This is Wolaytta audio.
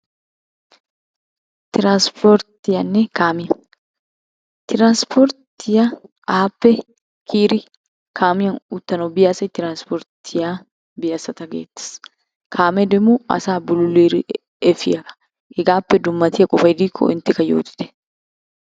Transportiyanne kaamiya, transporttiya aappe kiyyidi kaamiyan uttanaw biya asay transporttiya biya asata gettees. Kaame demo asaa bululidi efiyaaga. Hegappe dummatiya qofay diiko enttekka yootite.